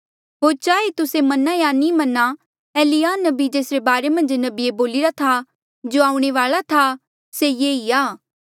होर चाहे तुस्से मना या नी मना एलिय्याह नबी जेसरे बारे मन्झ नबिये बोलिरा था जो आऊणें वाल्आ था से ये ई आ